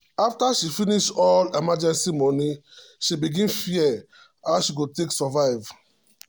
after she finish all emergency money she begin fear how she go take survive.